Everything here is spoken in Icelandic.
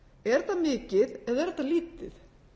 er þetta mikið eða er þetta lítið